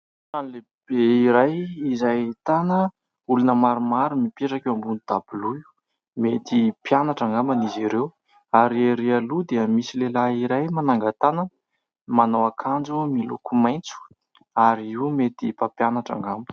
Trano lehibe iray izay ahitana olona maromaro mipetraka eo ambonin'ny dabilio, mety mpianatra angamba izy ireo. Ary ery aloha dia misy lehilahy iray manangan-tanana manao akanjo miloko maitso ary io mety mpampianatra angamba.